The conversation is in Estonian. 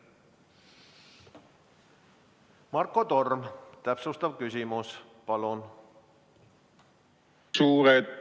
Marko Torm, täpsustav küsimus, palun!